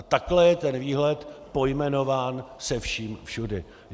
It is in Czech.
A takhle je ten výhled pojmenován se vším všudy.